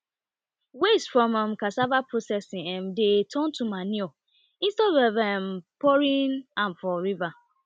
waste from um cassava processing um dey turn to manure instead um of pouring am for river